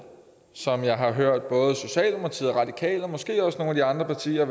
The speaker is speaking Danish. som jeg har hørt både socialdemokratiet radikale og måske også nogle andre partier